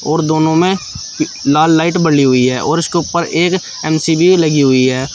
और दोनों में लाल लाइट बली हुई है और उसके ऊपर एक लगी हुई है।